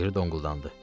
Leqri donquldandı.